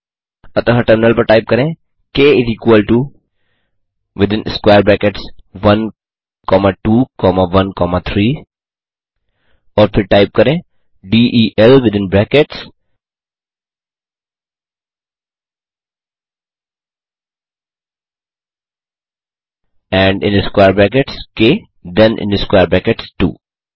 अतः टर्मिनल पर पर टाइप करें क इस इक्वल टो 12 13 और फिर टाइप करें del within brackets and square brackets क थेन स्क्वेयर ब्रैकेट्स 2